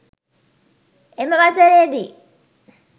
එම වසරේ දී